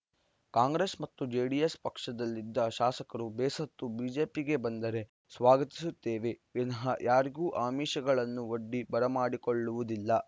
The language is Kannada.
ಕಾಂಗ್ರೆಸ್‌ ಮತ್ತು ಜೆಡಿಎಸ್‌ ಪಕ್ಷದಲ್ಲಿದ್ದ ಶಾಸಕರು ಬೇಸತ್ತು ಬಿಜೆಪಿಗೆ ಬಂದರೆ ಸ್ವಾಗತಿಸುತ್ತೇವೆ ವಿನಃ ಯಾರಿಗೂ ಆಮಿಷಗಳನ್ನು ಒಡ್ಡಿ ಬರಮಾಡಿಕೊಳ್ಳುವುದಿಲ್ಲ